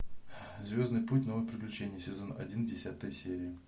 звездный путь новые приключения сезон один десятая серия